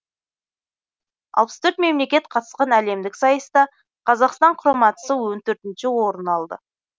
алпыс төрт мемлекет қатысқан әлемдік сайыста қазақстан құрамасы он төртінші орын алды